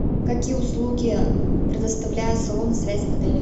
какие услуги предоставляют салоны связи в отеле